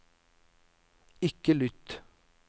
ikke lytt